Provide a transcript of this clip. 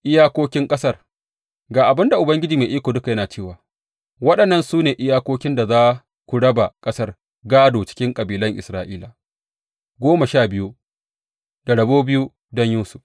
Iyakokin ƙasar Ga abin da Ubangiji Mai Iko Duka yana cewa, Waɗannan su ne iyakokin da za ku raba ƙasar gādo cikin kabilan Isra’ila goma sha biyu, da rabo biyu don Yusuf.